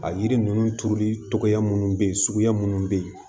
A yiri ninnu turuli tɔgɔ minnu bɛ yen suguya minnu bɛ yen